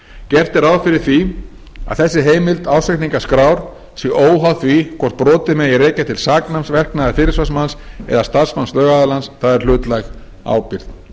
gert er ráð fyrir því að þessi heimild ársreikningaskrár sé óháð því hvort brotið megi rekja til saknæms verknaðar fyrirsvarsmanns eða starfsmanns lögaðilans það er hlutlæg ábyrgð